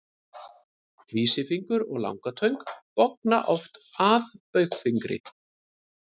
Vísifingur og langatöng bogna oft að baugfingri.